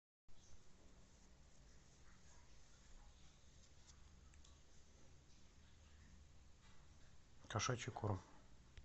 кошачий корм